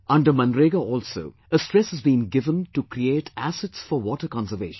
Under MNREGA also a stress has been given to create assets for water conservation